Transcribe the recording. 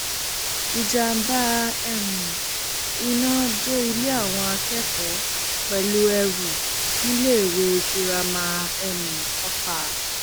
ìjàḿbà um iná jó ilé àwọn akẹkọọ pẹlú èrú níléèwé girama um ọfà